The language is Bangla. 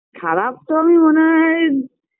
খারাপ তো আমি মনে হয়